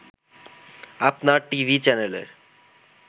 আপনার টিভি চ্যানেলের